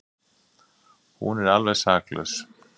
Hún er alveg saklaus.